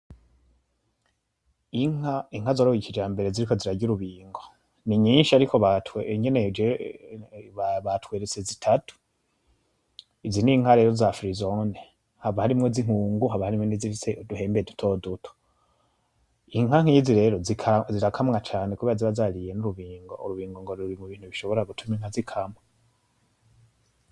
Inka zorowe kijambere ziriko zirarya urubingo ni nyishi ariko batweretse zitatu izi n’inka rero za firizone haba harimwo izinkungu haba harimwo n'izifise uduhembe dutoduto .inka nkizi rero zirakamwa cane kubera ziba zariye urubingo ,urubingo ruri mu bishobora gutuma inka zikamwa.